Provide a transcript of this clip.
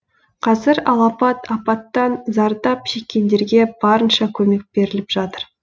қазір алапат апаттан зардап шеккендерге барынша көмек беріліп жатыр